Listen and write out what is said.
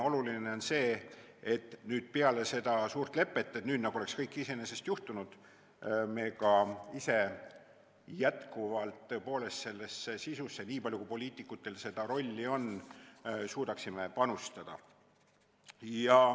Oluline on see, et nüüd, peale seda suurt lepet ei ole kõik nagu iseenesest juhtunud, vaid me ka ise jätkuvalt peame tõepoolest sellesse sisusse, nii palju kui poliitikutel seda rolli siin on, suutma panustada.